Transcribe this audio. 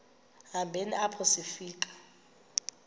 hambeni apho sifika